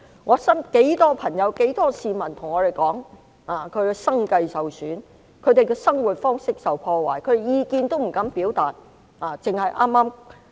我身邊很多朋友、很多市民跟我說，他們的生計受損，生活方式受破壞，他們不敢表達意見。